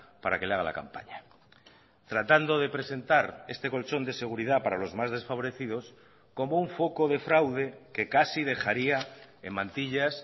para que le haga la campaña tratando de presentar este colchón de seguridad para los más desfavorecidos como un foco de fraude que casi dejaría en mantillas